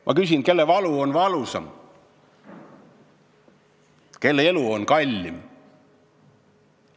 Ma küsin: kelle valu on valusam, kelle elu on kallim?